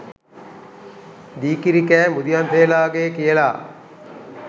දී කිරි කෑ මුදියන්සේලාගේ කියලා